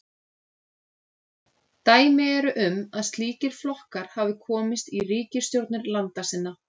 Dæmi eru um að slíkir flokkar hafi komist í ríkisstjórnir landa sinna.